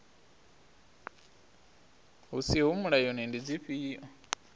hu siho mulayoni ndi dzifhio